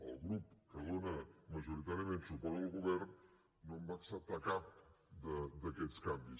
el grup que dona majoritàriament suport al govern no en va acceptar cap d’aquests canvis